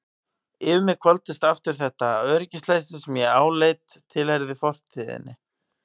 Yfir mig hvolfdist aftur þetta öryggisleysi sem ég áleit að tilheyrði fortíðinni.